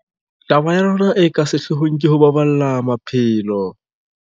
Taba ya rona e ka sehlohlolong ke ho baballa maphelo.